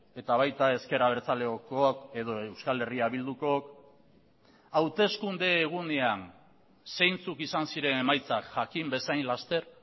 eta baita ezker abertzalekook edo euskal herria bildukook hauteskunde egunean zeintzuk izan ziren emaitzak jakin bezain laster